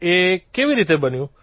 એ કેવી રીતે બન્યું